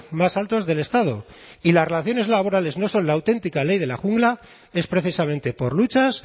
más altos del estado y las relaciones laborales no son la auténtica ley de la jungla es precisamente por luchas